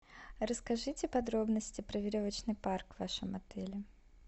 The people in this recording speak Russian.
расскажите подробности про веревочный парк в вашем отеле